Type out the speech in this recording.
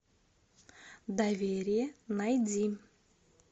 доверие найди